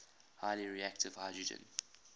highly reactive hydrogen